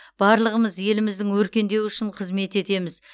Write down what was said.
барлығымыз еліміздің өркендеуі үшін қызмет етеміз